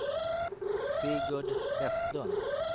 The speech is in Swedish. Sigurd Vestlund